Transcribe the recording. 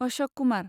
Ashok Kumar